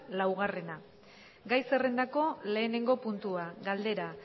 laugarrena gai zerrendako lehenengo puntua galdera